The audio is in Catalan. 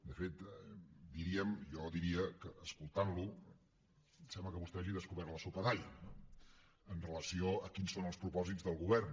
de fet diríem jo diria que escoltant lo sembla que vostè hagi descobert la sopa d’all amb relació a quins són els propòsits del govern